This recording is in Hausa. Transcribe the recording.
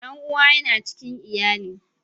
Dan'uwa yana cikin iyali.